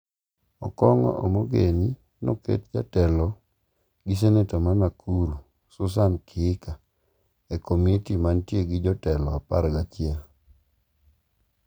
Okong'o Omogeni noket jatelo gi seneta mar Nakuru Susan Kihika e komiti mantie gi jotelo apar gi achiel.